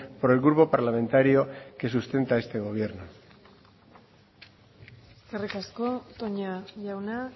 por el grupo parlamentario que sustenta este gobierno eskerrik asko toña jauna